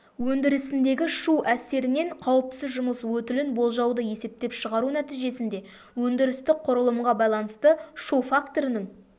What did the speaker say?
өндірісіндегі шу әсерінен қауіпсіз жұмыс өтілін болжауды есептеп шығару нәтижесінде өндірістік құрылымға байланысты шу факторының